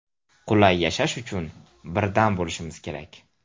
Qulay yashash uchun birdam bo‘lishimiz kerak.